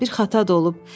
Bir xata da olub.